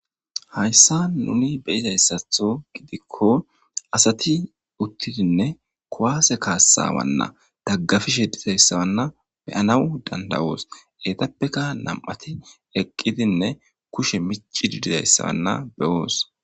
hayssa nuni beyizayssatho gidikko asati uttidinne kowaase kaassawanna daggafishe dizayssawanna beyanawu dandawoos eetappeka nam7ati eqqidinne kushe michi didizayssawanna beyoos